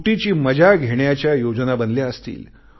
सुटीची मजा घेण्याच्या योजना बनल्या असतील